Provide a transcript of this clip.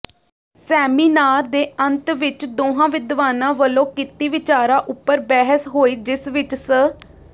seminar ਦੇ ਅੰਤ ਵਿਚ ਦੋਹਾਂ ਵਿਦਵਾਨਾਂ ਵਲੋਂ ਕੀਤੀ ਵਿਚਾਰਾਂ ਉਪਰ ਬਹਿਸ ਹੋਈ ਜਿਸ ਵਿਚ ਸ